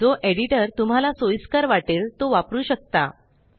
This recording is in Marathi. जो एडिटर तुम्हाला सोइस्कर वाटेल तो वापरु शकता